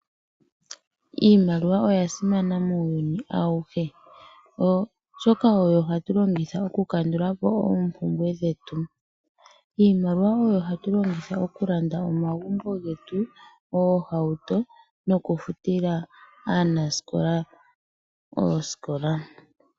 Iimaliwa oyasimana muuyuni awuhe oshoka oyo hatu longitha oku kandulapo oopumbwe dhetu. Iimaliwa oyo hatu longitha oku landa omagumbo getu, oohauto noku futila aanaskola ooskola.